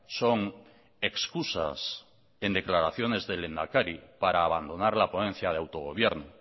son excusas en declaraciones de lehendakari para abandonar la ponencia de autogobierno